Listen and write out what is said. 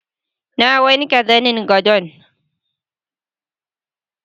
Na wanke zanin gadon